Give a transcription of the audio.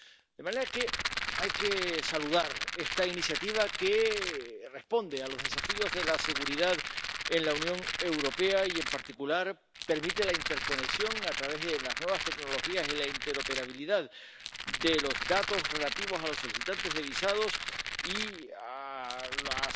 De manera que hay que saludar esta iniciativa que responde a los desafíos de la seguridad en la Unión Europea y, en particular, permite la interconexión a través de las nuevas tecnologías y la interoperabilidad de los datos relativos a los solicitantes de visados y a las